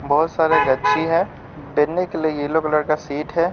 बहुत सारे गच्छी है बैठने के लिए येलो कलर का सीट है।